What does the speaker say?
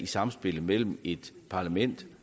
samspillet mellem et parlament